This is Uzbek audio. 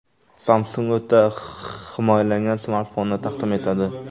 Samsung o‘ta himoyalangan smartfonni taqdim etadi.